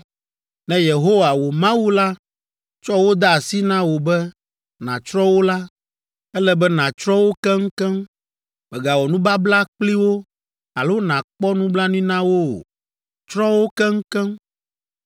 Ne Yehowa, wò Mawu la tsɔ wo de asi na wò be nàtsrɔ̃ wo la, ele be nàtsrɔ̃ wo keŋkeŋ. Mègawɔ nubabla kpli wo alo nàkpɔ nublanui na wo o. Tsrɔ̃ wo keŋkeŋ.